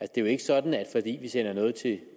det er jo ikke sådan at fordi vi sender noget til